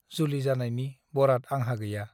जुलि जानायनि बराद आंहा गैया ।